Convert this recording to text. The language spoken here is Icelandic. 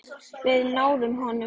Við náðum honum.